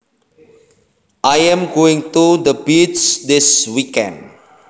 I am going to the beach this weekend